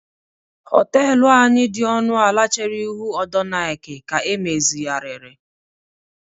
họtelu anyị dị ọnụ ala chere ihu ọdọ Nike ka emezigharịrị